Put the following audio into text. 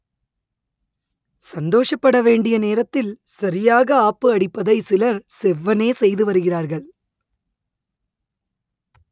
சந்தோஷப்பட வேண்டிய நேரத்தில் சரியாக ஆப்பு அடிப்பதை சிலர் செவ்வனே செய்து வருகிறார்கள்